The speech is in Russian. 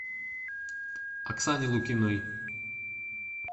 оксане лукиной